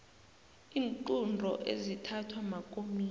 iinqunto ezithathwa makomidi